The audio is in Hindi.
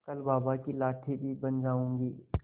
कल बाबा की लाठी भी बन जाऊंगी